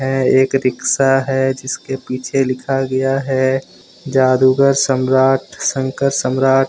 यह एक रिक्शा है जिसके पीछे लिखा गया है जादूगर सम्राट शंकर सम्राट।